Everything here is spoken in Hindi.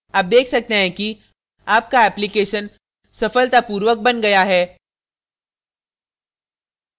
आप देख सकते हैं कि आपका application सफलतापूर्वक बन गया है